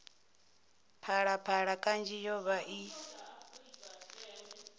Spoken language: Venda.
phalaphala kanzhi yo vha i